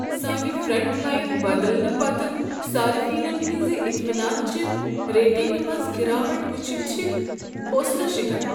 سٲنہِ front line بدلنہٕ پتہٕ صارفینن ہنٛزِ اطمینان چہِ ریٹنگہِ منٛز گراوٹ وٕچھنۍ چھ حوصلہ شِکن۔